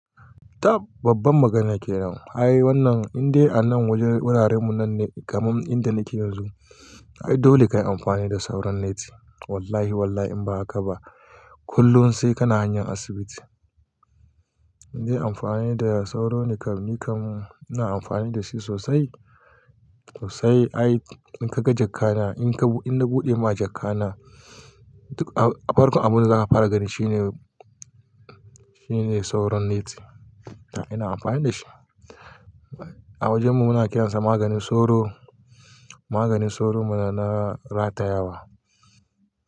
Tab babban magana kenan. Ai wannan indai ana wurin wuraren mu nan ne kamar inda nake yanzu. Ai dole kayi amfani da sauran neti. Wallahi wallahi in ba haka ba kullum sai kana hanyan asibiti. Indai amfani da sauro ne kam, ni kam ina amfani da shi sosai sosai. Ai in ka ga jakka na, in ka in na buɗe ma jakka na, farkon abun da za ka fara gani shine, shine sauran neti. Ina amfani da shi. A wajen mu muna kiransa maganin soro. Maganin soro mana na ratayawa.